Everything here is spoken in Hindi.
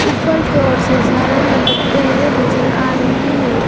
ऊपर की ओर से झालर लटकते हुए नजर आ रहे हैं।